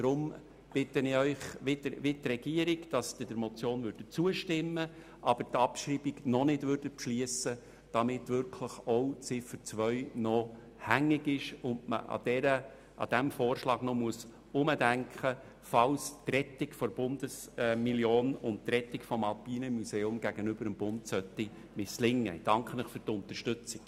Ich bitte Sie daher, die Motion wie die Regierung anzunehmen, aber noch keine Abschreibung zu beschliessen, damit Ziffer 2 auch wirklich noch hängig bleibt und man diesen Vorschlag weiter durchdenken kann, falls die Rettung der Bundesmillion und die Rettung des Alpinen Museums beim Bund misslingen sollten.